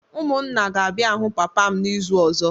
Umunna ga-abia hu papam n'izu ozo